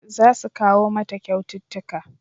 Za su kawo mata kyaututtuka